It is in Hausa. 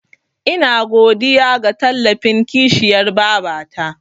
Ina godiya ga tallafin kishiyar babata.